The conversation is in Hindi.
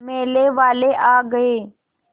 मेले वाले आ गए